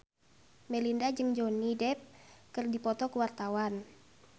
Melinda jeung Johnny Depp keur dipoto ku wartawan